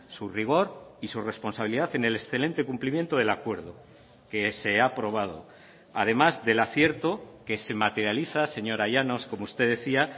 su rigor y su responsabilidad en el excelente cumplimiento del acuerdo que se ha aprobado además del acierto que se materializa señora llanos como usted decía